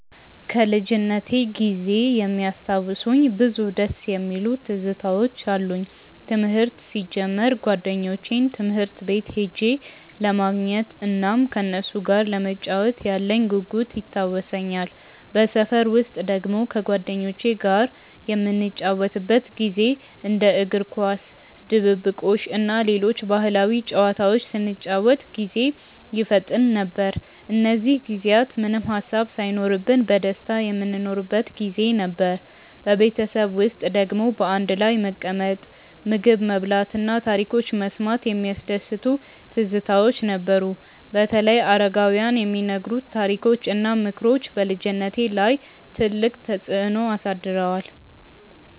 ከልጅነቴ ጊዜ የሚያስታውሱኝ ብዙ ደስ የሚሉ ትዝታዎች አሉኝ። ትምህርት ሲጀምር ጓደኞቼን ትምህርት ቤት ሄጄ ለማግኘት እናም ከነሱ ጋር ለመጫወት ያለኝ ጉጉት ይታወሰኛል። በሰፈር ውስጥ ደግሞ ከጓደኞቼ ጋር የምንጫወትበት ጊዜ እንደ እግር ኳስ፣ ድብብቆሽ እና ሌሎች ባህላዊ ጨዋታዎች ስንጫወት ጊዜ ይፈጠን ነበር። እነዚህ ጊዜያት ምንም ሃሳብ ሳይኖርብን በደስታ የምንኖርበት ጊዜ ነበር። በቤተሰብ ውስጥ ደግሞ በአንድ ላይ መቀመጥ፣ ምግብ መብላት እና ታሪኮች መስማት የሚያስደስቱ ትዝታዎች ነበሩ። በተለይ አረጋውያን የሚነግሩት ታሪኮች እና ምክሮች በልጅነቴ ላይ ትልቅ ተፅዕኖ አሳድረዋል።